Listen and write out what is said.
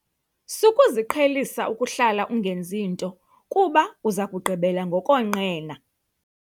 Sukuziqhelisa ukuhlala ungenzi nto kuba uza kugqibela ngokonqena.